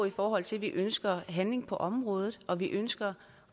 i forhold til at vi ønsker handling på området og vi ønsker